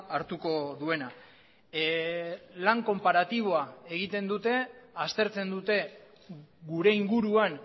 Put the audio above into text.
hartuko duena lan konparatiboa egiten dute aztertzen dute gure inguruan